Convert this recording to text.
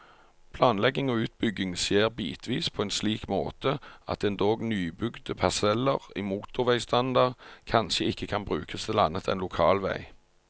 Planlegging og utbygging skjer bitvis på en slik måte, at endog nybygde parseller i motorveistandard kanskje ikke kan brukes til annet enn lokalvei.